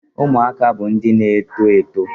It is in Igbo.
Ụmụaka bụ ndị na-eto eto.